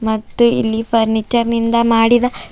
ಮತ್ತು ಇಲ್ಲಿ ಫರ್ನಿಚರ್ ನಿಂದ ಮಾಡಿದ--